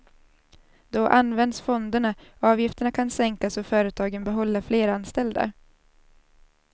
Då används fonderna, avgifterna kan sänkas och företagen behålla fler anställda.